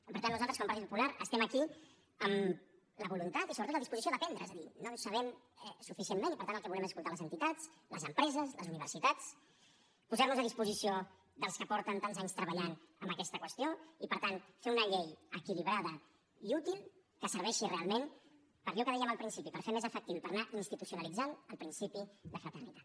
i per tant nosaltres com a partit popular estem aquí amb la voluntat i sobretot la disposició d’aprendre és a dir no en sabem suficientment i per tant el que volem és escoltar les entitats les empreses les universitats posarnos a disposició dels que fa tants anys que treballen en aquesta qüestió i per tant fer una llei equilibrada i útil que serveixi realment per a allò que dèiem al principi per fer més efectiu i per anar institucionalitzant el principi de fraternitat